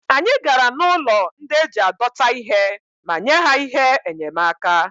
anyị gara n'ụlọ ndị e ji adọta ihe ma nye ha ihe enyemaka